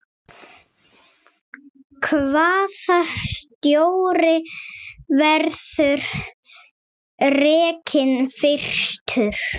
Hvaða stjóri verður rekinn fyrstur?